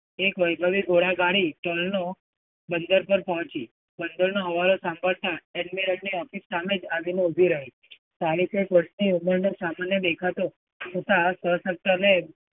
એક વૈભવી ઘોડાગાડી ચલનો બંદર પર પહોંચી. બંદરનો હવાલો સાંભળતા એડમેરનની office સામે જ આવીને ઊભી રહી.